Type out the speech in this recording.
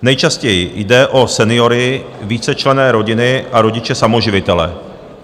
Nejčastěji jde o seniory, vícečlenné rodiny a rodiče samoživitele.